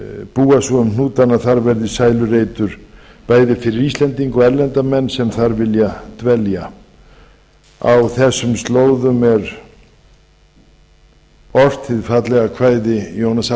búa svo um hnútana að þar verði sælureitur bæði fyrir íslendinga og erlenda menn sem þar vilja dvelja á þessum slóðum er ort hið fallega kvæði jónasar